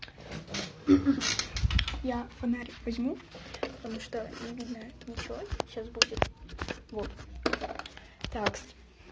я фонарь возьму потому что не видно ничего сейчас будет вот так